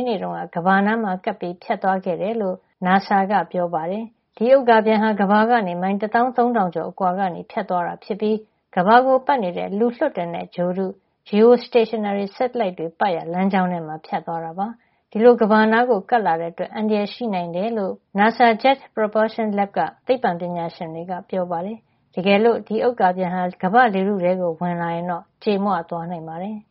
းနေ့က ကမ္ဘာနားမှာ ကပ်ပြီး ဖြတ်သွားခဲ့တယ်လို့ အမေရိကန်အာကာသစူးစမ်းရေးဌာန NASA က ပြောပါတယ်။ ဒီဥက္ကာပျံဟာ ကမ္ဘာကနေ မိုင် တသောင်း သုံးထောင်ကျော်အကွာကနေ ဖြတ်သွားတာ ဖြစ်ပြီး ကမ္ဘာကိုပတ်နေတဲ့ လူလွှတ်တင်တဲ့ ဂြိုဟ်တု (geostationary satellites) တွေ ပတ်ရာ လမ်းကြောင်းထဲမှာ ဖြတ်သွားတာ ဖြစ်ပါတယ်။ ဒီလို ကမ္ဘာနားကို ကပ်လာတဲ့ အတွက် အန္တရာယ်ရှိနိုင်တယ်လို့ ကယ်လီဖိုးနီးယားက NASA ရဲ့ Jet Propulsion Laboratory (JPL) စခန်းက သိပ္ပွံပညာရှင်တွေက ပြောပါတယ်။ တကယ်လို့ ဒီဥက္ကာပျံဟာ ကမ္ဘာ့လေထုထဲကို ဝင်လာရင်တော့ ကြေမွသွားနိုင်ပါတယ်။